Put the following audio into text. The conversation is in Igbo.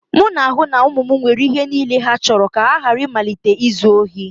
M na-ahụ na ụmụ m nwere ihe niile ha chọrọ ka ha ghara ịmalite izu ohi